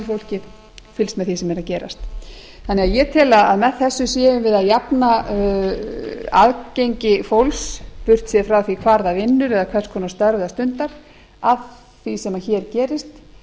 tölvufólkið fylgst með því sem er að gerast ég tel að með þessu séum við að jafna aðgengi fólks burt séð frá því hvar það vinnur eða hvers konar störf það stundar af því sem hér gerist